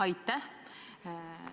Aitäh!